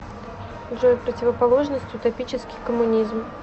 джой противоположность утопический коммунизм